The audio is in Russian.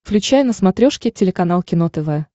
включай на смотрешке телеканал кино тв